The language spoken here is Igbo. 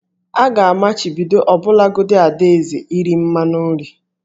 A ga-amachibido ọbụlagodi Ada eze iri mmanụ nri